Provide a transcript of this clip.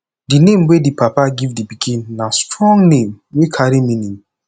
di name wey di papa give di pikin na strong name wey carry meaning